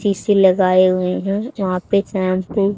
शीशे लगाए हुए है वहां पे चांद को--